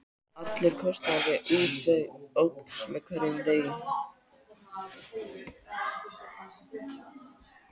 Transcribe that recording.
Allur kostnaður við útgerð óx með degi hverjum.